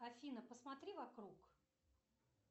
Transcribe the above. афина посмотри вокруг